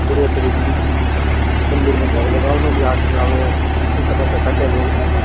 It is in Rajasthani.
बढिया तरिके हु मंदिर में धोक लगावण --